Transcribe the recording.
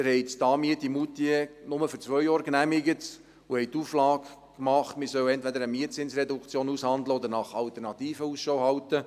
Sie haben die Anmiete von Moutier nur für zwei Jahre genehmigt und die Auflage gemacht, man solle entweder eine Mietzinsreduktion aushandeln oder nach Alternativen Ausschau halten.